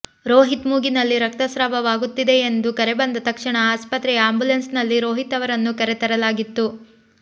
ರೋಹಿತ್ ಮೂಗಿನಲ್ಲಿ ರಕ್ತಸ್ರಾವವಾಗುತ್ತಿದೆ ಎಂದು ಕರೆಬಂದ ತಕ್ಷಣ ಆಸ್ಪತ್ರೆಯ ಆ್ಯಂಬುಲೆನ್ಸ್ನಲ್ಲಿ ರೋಹಿತ್ ಅವರನ್ನು ಕರೆ ತರಲಾಗಿತ್ತು